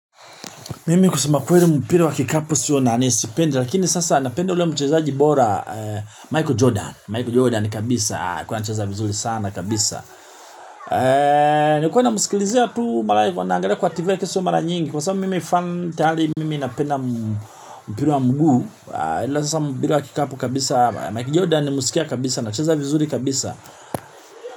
Mimi kusema kweli mpira wa kikapu siyo nani sipendi lakini sasa napende ule mchezaji bora Michael Jordan, Michael Jordan kabisa, alikukwa anacheza vizuri sana kabisa. Nilikiwa na msikilizia tu mara, nilivyoanglia kwa tv lakini sio mara nyingi kwa sababu mimi fan tayari mimi napenda mpira wa mguu alafu sasa mpira wa kikapu kabisa, Michael Jordan nilmsikia kabisa, anacheza vizuri kabisa.